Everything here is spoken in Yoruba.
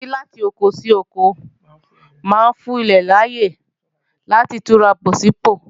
Ṣíṣí láti oko sí oko máa ń fún ilẹ̀ láyè láti túnra bọ̀ sí pò